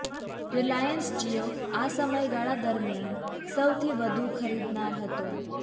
Reliance Jio આ સમયગાળા દરમિયાન સૌથી વધુ ખરીદનાર હતો